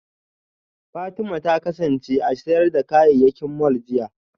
Fatima ta kasance a sayar da kayayyaki mall jiya